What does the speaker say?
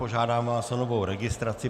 Požádám vás o novou registraci.